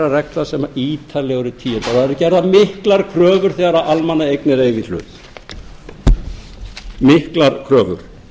reglna sem eru ítarlega eru tíundaðar og það eru gerðar miklar kröfur þegar almannaeignir eiga í hlut miklar kröfur